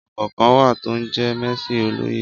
Ọkọ̀ kan wà to ń jẹ mẹẹsì òlòyé